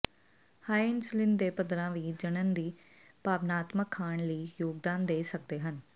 high insulin ਦੇ ਪੱਧਰਾਂ ਵੀ ਜਣਨ ਜ ਭਾਵਨਾਤਮਕ ਖਾਣ ਲਈ ਯੋਗਦਾਨ ਦੇ ਸਕਦੇ ਹਨ